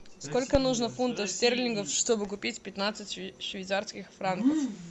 сколько нужно фунтов стерлингов чтобы купить пятнадцать швейцарских франков